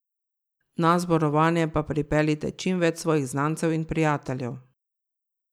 Na zborovanje pa pripeljite čim več svojih znancev in prijateljev.